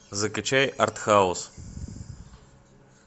закачай артхаус